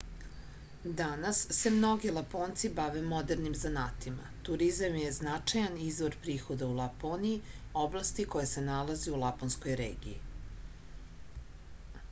danas se mnogi laponci bave modernim zanatima turizam je značajan izvor prihoda u laponiji oblasti koja se nalazi u laponskoj regiji